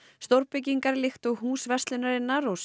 stórbyggingar líkt og Hús verslunarinnar og